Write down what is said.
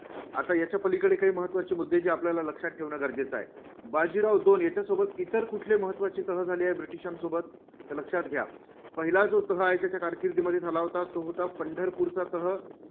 आता याच्या पलीकडे महत्त्वाचे मुद्दे जे आपल्याला लक्षात ठेवणं गरजेचं आहे. बाजीराव दोन याच्यासोबत इतर कुठले महत्त्वाचे तह झाले ब्रिटिशांसोबत तर लक्षात घ्या, पहिला जो तह आहे त्याच्या कारकिर्दमध्ये झाला होता, तो होता पंढरपूरचा तह.